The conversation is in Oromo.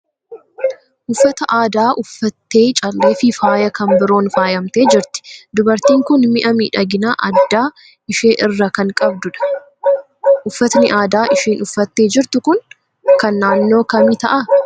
Uffata aadaa uffattee callee fi faaya kan biroon faayamtee jirti. Dubartiin kun mi'a miidhaginaa adda ishii irra kan qabdu dha. Uffatni aadaa ishiin uffattee jrtu kun kan naannoo kamii ta'a?